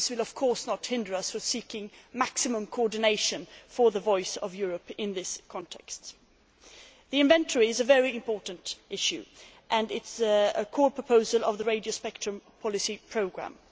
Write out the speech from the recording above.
This will not, of course, hinder us from seeking maximum coordination for the voice of Europe in this context. The inventory is a very important issue and it is a core proposal of the radio spectrum policy programme.